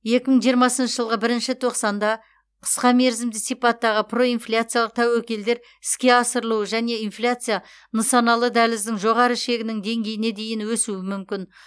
екі мың жиырмасыншы жылғы бірінші тоқсанда қысқа мерзімді сипаттағы проинфляциялық тәуекелдер іске асырылуы және инфляция нысаналы дәліздің жоғары шегінің деңгейіне дейін өсуі мүмкін